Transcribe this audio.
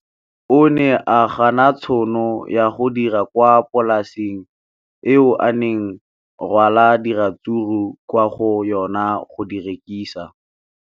O ne a gana tšhono ya go dira kwa polaseng eo a neng rwala diratsuru kwa go yona go di rekisa.